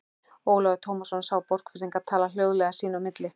Ólafur Tómasson sá Borgfirðinga tala hljóðlega sín á milli.